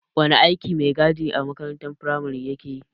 Wane aikin maigadin a makarantar firamare ya keyi?